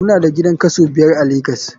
Mu na da gidan kaso biyar a lagos.